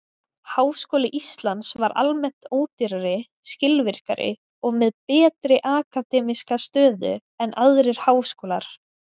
Háskóli Íslands var almennt ódýrari, skilvirkari og með betri akademíska stöðu en aðrir háskólar.